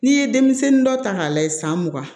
N'i ye denmisɛnnin dɔ ta k'a lajɛ san mugan